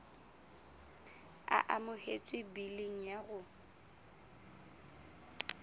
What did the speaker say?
e amohetswe biling ya rona